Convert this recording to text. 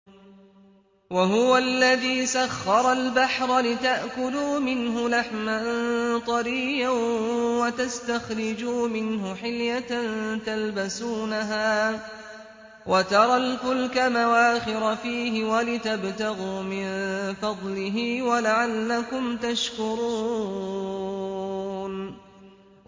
وَهُوَ الَّذِي سَخَّرَ الْبَحْرَ لِتَأْكُلُوا مِنْهُ لَحْمًا طَرِيًّا وَتَسْتَخْرِجُوا مِنْهُ حِلْيَةً تَلْبَسُونَهَا وَتَرَى الْفُلْكَ مَوَاخِرَ فِيهِ وَلِتَبْتَغُوا مِن فَضْلِهِ وَلَعَلَّكُمْ تَشْكُرُونَ